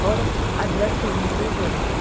और अदृश्य महसूस हो रहे हैं।